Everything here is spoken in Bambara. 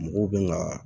Mɔgɔw bɛ ka